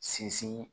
Sinsin